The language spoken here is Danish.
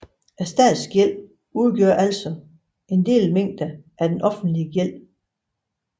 Statsgælden udgør altså en delmængde af den offentlige gæld